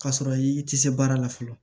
K'a sɔrɔ i tɛ se baara la fɔlɔ